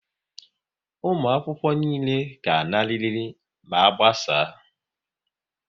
Ụmụakwụkwọ niile ga-anarịrị ma a gbasaa!